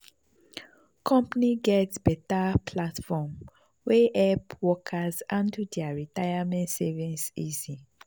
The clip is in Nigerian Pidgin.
company get better platform wey help workers handle their retirement savings easy.